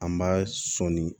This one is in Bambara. An b'a sɔni